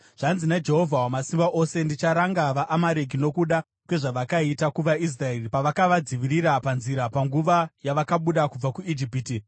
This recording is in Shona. Zvanzi naJehovha Wamasimba Ose: ‘Ndicharanga vaAmareki nokuda kwezvavakaita kuvaIsraeri pavakavadzivirira panzira panguva yavakabuda kubva kuIjipiti.